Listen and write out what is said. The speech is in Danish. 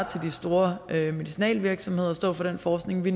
til de store medicinalvirksomheder at stå for den forskning vi